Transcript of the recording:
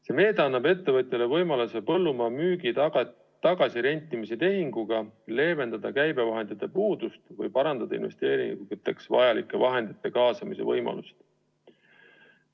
See meede annab ettevõtjale võimaluse põllumaa müügi ja tagasirentimise tehinguga leevendada käibevahendite puudust või parandada investeeringuteks vajalike vahendite kaasamise võimalust.